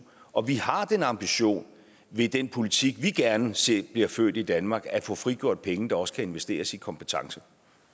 og vi har den ambition ved den politik vi gerne ser bliver ført i danmark at få frigjort penge der også kan investeres i kompetence